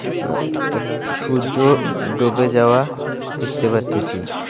আঃ এক সূর্য ডুবে যাওয়া দেখতে পারতেসি।